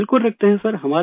بالکل رکھتے ہیں سر